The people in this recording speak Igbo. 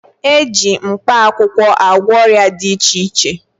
E ji mkpaakwụwkọ agwọ ọrịa dị iche iche